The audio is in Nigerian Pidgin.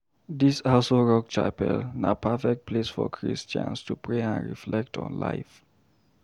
Dis Aso Rock Chapel na perfect place for Christians to pray and reflect on life.